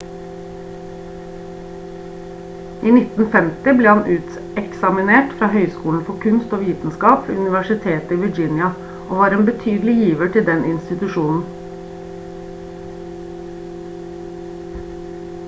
i 1950 ble han uteksaminert fra høyskolen for kunst og vitenskap ved universitetet i virginia og var en betydelig giver til den institusjonen